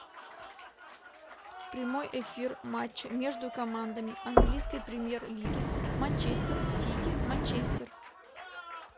прямой эфир матч между командами английской премьер лиги манчестер сити манчестер